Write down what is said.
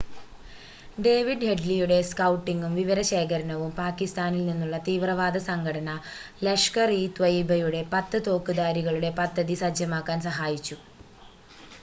David ഹെഡ്‌ലിയുടെ സ്‌കൗട്ടിങ്ങും വിവരശേഖരണവും പാകിസ്ഥാനിൽ നിന്നുള്ള തീവ്രവാദ സംഘടന ലഷ്കർ-ഇ-ത്വയ്യിബയുടെ 10 തോക്ക്ധാരികളുടെ പദ്ധതി സജ്ജമാക്കാൻ സഹായിച്ചു